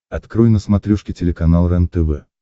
открой на смотрешке телеканал рентв